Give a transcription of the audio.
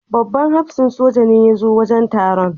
Babban hafsan soja ne ya zo wajen taron.